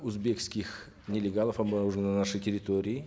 узбекских нелегалов обнаружено на нашей территории